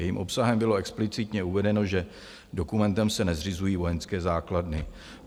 Jejím obsahem bylo explicitně uvedeno, že dokumentem se nezřizují vojenské základny.